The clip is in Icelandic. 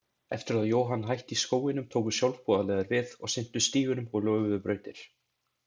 Eftir að Johan hætti í skóginum tóku sjálfboðaliðar við og sinntu stígunum og löguðu brautir.